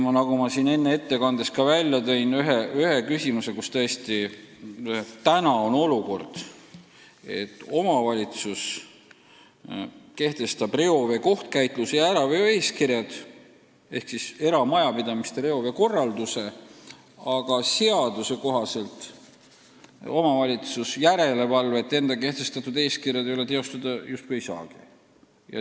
Ma tõin ettekandes ka välja ühe küsimuse: praegu on olukord, et omavalitsus kehtestab reovee kohtkäitluse ja äraveo eeskirjad ehk siis eramajapidamiste reoveekorralduse, aga seaduse kohaselt omavalitsus järelevalvet enda kehtestatud eeskirjade täitmise üle teostada justkui ei saa.